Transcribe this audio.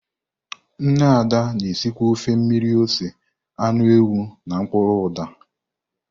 Nne Ada na-esikwa ofe mmiri ose anụ ewu na mkpuru uda.